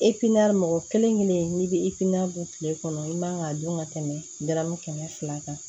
mɔgɔ kelen kelen n'i bɛ don kile kɔnɔ i man ka dun ka tɛmɛ dɔrɔmɛ kɛmɛ fila kan